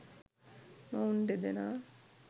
මොවුන් දෙදෙනා